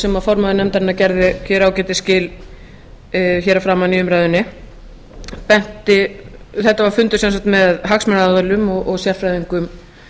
sem formaður nefndarinnar gerði ágætis skil hér að framan í umræðunni þetta var fundur með hagsmunaaðilum og sérfræðingum